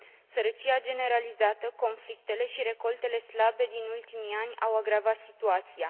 Sărăcia generalizată, conflictele și recoltele slabe din ultimii ani au agravat situația.